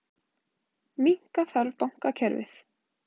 Minnka þarf bankakerfið